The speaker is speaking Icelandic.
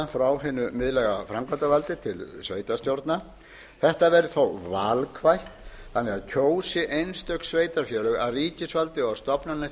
frá hinu miðlæga framkvæmdarvaldi til sveitarstjórna þetta verður þó valkvætt þannig að kjósi einstök sveitarfélög að ríkisvaldið og stofnanir